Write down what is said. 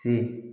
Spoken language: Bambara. Se